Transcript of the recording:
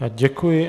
Já děkuji.